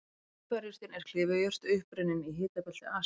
Piparjurtin er klifurjurt upprunnin í hitabelti Asíu.